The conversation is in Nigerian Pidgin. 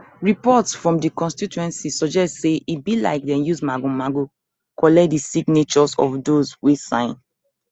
reports from di constituency suggest say e be like dem use magomago collect di signatures of those wey sign